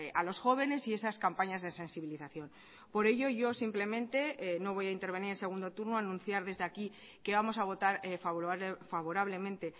a los jóvenes y esas campañas de sensibilización por ello yo simplemente no voy a intervenir en segundo turno anunciar desde aquí que vamos a votar favorablemente